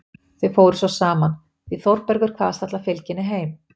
Þau fóru svo saman, því Þórbergur kvaðst ætla að fylgja henni heim.